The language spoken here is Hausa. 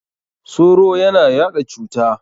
Soro ya na yaɗa cuta.